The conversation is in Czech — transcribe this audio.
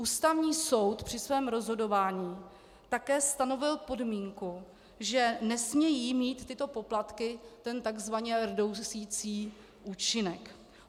Ústavní soud při svém rozhodování také stanovil podmínku, že nesmějí mít tyto poplatky ten tzv. rdousicí účinek.